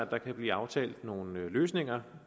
der kan blive aftalt nogle løsninger